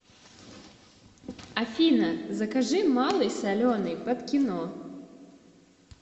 афина закажи малый соленый под кино